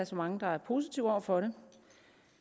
så mange der er positive over for det